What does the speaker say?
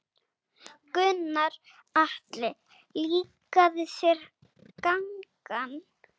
Gunnar Atli: Líkaði þér gangan?